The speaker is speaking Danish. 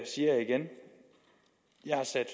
jeg har sat